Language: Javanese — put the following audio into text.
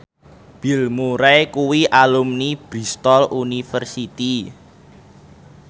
Bill Murray kuwi alumni Bristol university